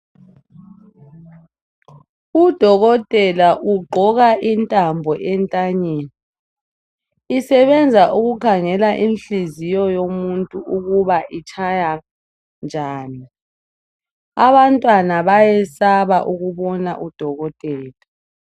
Udokotela ugqoka intambo entanyeni. Isebenza ukukhangela inhliziyo yomuntu ukuba itshaya njani. Abantwana bayesaba ukubona udokotela.